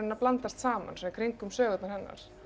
að blandast saman í kringum sögurnar hennar